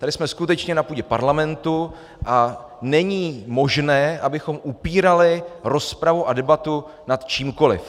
Tady jsme skutečně na půdě parlamentu a není možné, abychom upírali rozpravu a debatu nad čímkoliv.